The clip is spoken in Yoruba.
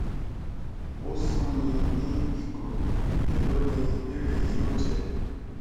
o sumi ni iko elo ni ibeere yii yoo jẹ